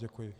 Děkuji.